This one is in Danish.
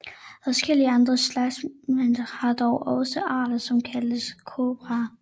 Adskillige andre slangeslægter har dog også arter som kaldes kobraer